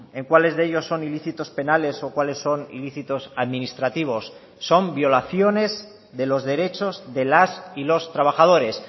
en cuáles de ellos son ilícitos penales o cuáles son ilícitos administrativos son violaciones de los derechos de las y los trabajadores